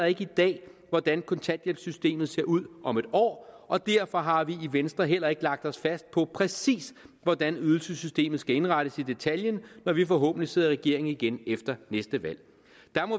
ikke i dag hvordan kontanthjælpssystemet ser ud om et år og derfor har vi i venstre heller ikke lagt os fast på præcis hvordan ydelsessystemet skal indrettes i detaljen når vi forhåbentlig sidder i regering igen efter næste valg